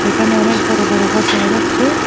এখানে অনেক বড়ো বড়ো ঘর দেখা যাচ্ছে।